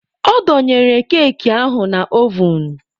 Ọ dọnyere keeki ahụ na ovun.